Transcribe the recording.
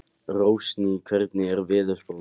Rósný, hvernig er veðurspáin?